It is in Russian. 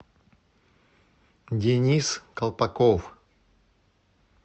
денис колпаков